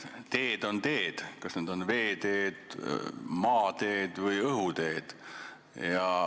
Teed on teed, on need veeteed, maateed või õhuteed.